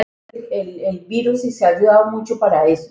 Nei, það erum við.